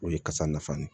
O ye kasa nafan de ye